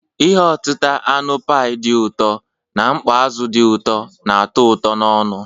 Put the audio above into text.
Ihe otita anụ pi dị ụtọ na mkpọ azụ di uto na-ato uto n'onu.